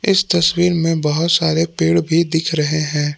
इस तस्वीर मे बहुत सारे पेड़ भी दिख रहे है।